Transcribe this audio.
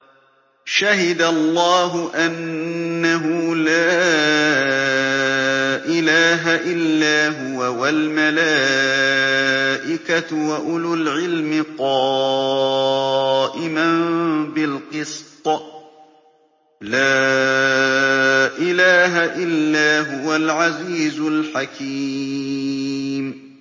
شَهِدَ اللَّهُ أَنَّهُ لَا إِلَٰهَ إِلَّا هُوَ وَالْمَلَائِكَةُ وَأُولُو الْعِلْمِ قَائِمًا بِالْقِسْطِ ۚ لَا إِلَٰهَ إِلَّا هُوَ الْعَزِيزُ الْحَكِيمُ